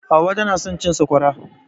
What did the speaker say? Hauwa tana son cin Sakwara.